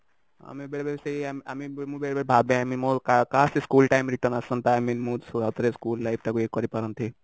ଆମେ ବେଳେବେଳେ i mean ମୁଁ ବି ବେଳେବେଳେ ସେୟା ଭାବେ i mean କାଶ କି school time return ଆସନ୍ତା i mean ମୁଁ ଆଉ ଥରେ school life ଟାକୁ ଇଏ କରି ପାରନ୍ତି